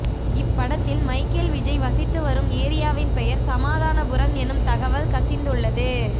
இப்படத்தில் மைக்கல் விஜய் வசித்து வரும் ஏரியாவின் பெயர் சமாதானபுரம் எனும் தகவல் கசிந்துள்ளது